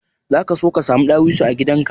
Zaka so ka samu dawisu a gidan ka?